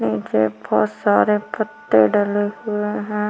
नीचे बहोत सारे पत्ते डले हुए हैं।